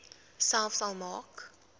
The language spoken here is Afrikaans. selfs al maak